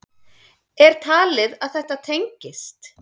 Er talið að þetta tengist?